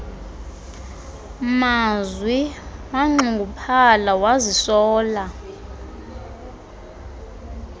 mazwi wanxunguphala wazisola